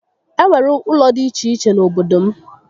E nwere ụlọ dị iche iche n'obodo m